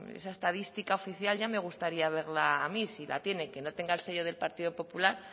esa estadística oficial ya me gustaría verla a mí si la tiene que no tenga el sello del partido popular